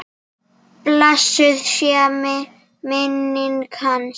Blessuð sé minning hans!